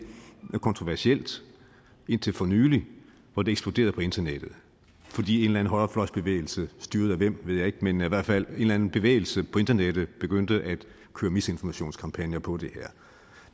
kontroversielt indtil for nylig hvor det eksploderede på internettet fordi en højrefløjbevægelse styret af hvem ved jeg ikke men i hvert fald en eller anden bevægelse på internettet begyndte at køre misinformationskampagner på det her